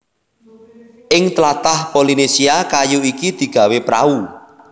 Ing tlatah Polynesia kayu iki digawé prau